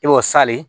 I b'o sale